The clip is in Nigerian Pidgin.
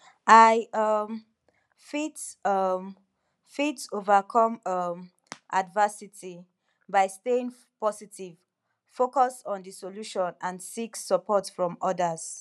i um fit um fit overcome um adversity by staying positive focus on di solution and seek support from odas